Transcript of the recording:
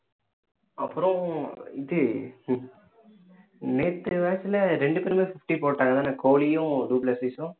அப்புறம் இது நேத்து match ல ரெண்டு பேருமே fifty போட்டாங்கதான கோஹ்லியும்